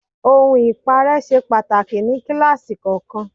Ohun ipare ṣe pàtàkì ní kíláàsì kọ̀ọ̀kan.